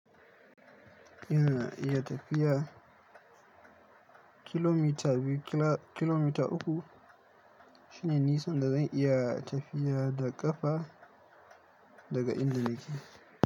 Ina iya tafiya kilomita biyu kilomita uku shine nisan da zan iya tafiya da kafa daga inda nake.